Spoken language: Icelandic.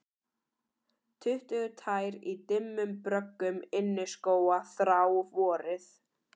Tuttugu tær í dimmum bröggum inniskóa þrá vorið